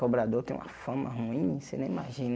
Cobrador tem uma fama ruim, você nem imagina.